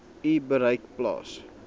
u bereik plaas